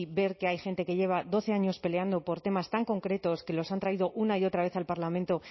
ver que hay gente que lleva doce años peleando por temas tan concretos que los han traído una y otra vez al parlamento